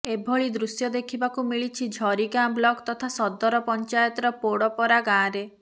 ଏଭଳି ଦୃଶ୍ୟ ଦେଖିବାକୁ ମିଳିଛି ଝରିଗାଁ ବ୍ଲକ ତଥା ସଦର ପକ୍ରାୟତର ପୋଡପରା ଗାଁରେ